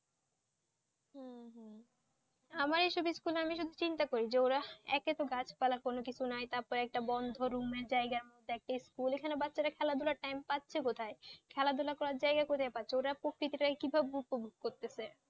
আমাদের এইসব স্কুলে আমি শুধু চিন্তা করি যে ওরা একেতো গাছপালা কিছু নেই তারপরও বদ্ধ room একটা জায়গাতে school এখানে বাচ্চারা খেলাধুলা time পাচ্ছে কোথায়? খেলাধুলোর জায়গা কোথায় পাচ্ছে? ওরা প্রকৃতিটাকে কিভাবে উপভোগ করছে?